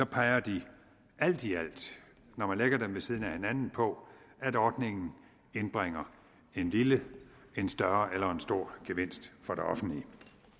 peger de når man lægger dem ved siden af hinanden på at ordningen indbringer en lille en større eller en stor gevinst for det offentlige